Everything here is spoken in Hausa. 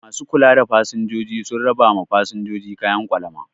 Ma su kula da fasinjoji sun raba ma fasinjoji kayan kwalama